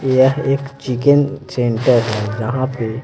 यह एक chicken center है जहां पे--